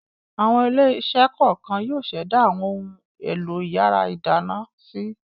Àwọn ilé-iṣẹ́ kọ̀ọ̀kan yóò ṣẹ̀dá àwọn ohun-èlò ìyàrá-ìdáná si.